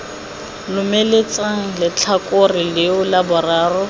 lomeletsang letlhakore leo la boraro